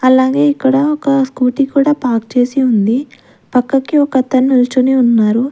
అలాగే ఇక్కడ ఒక స్కూటీ కూడా పార్క్ చేసి ఉంది పక్కకి ఒక అతను నిల్చోని ఉన్నారు.